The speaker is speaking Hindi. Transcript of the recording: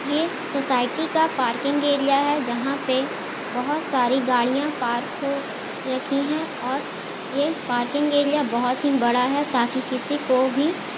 ये सोसायटी का पार्किंग एरिया है जहाँ पे बोहोत सारी गाड़ियाँ पार्क हो रखी है। और ये पार्किंग एरिया बहोत ही बड़ा है ताकि किसी को भी--